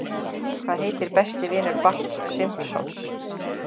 Hvað heitir besti vinur Barts Simpsons?